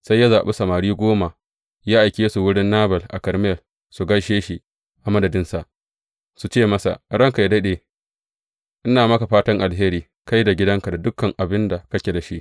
Sai ya zaɓi samari goma ya aike su wurin Nabal a Karmel su gaishe shi a madadinsa, su ce masa, Ranka yă daɗe, ina maka fatan alheri, kai da gidanka da dukan abin da kake da shi!